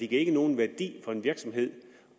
giver nogen værdi for en virksomhed